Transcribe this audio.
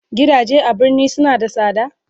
Gidaje a birni suna da sada?